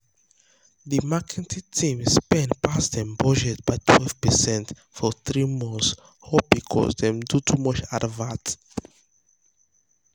de marketing team spend pass dem budget by 12 percent for three months all because dem do too much advert.